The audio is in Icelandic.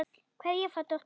Kveðja frá dóttur.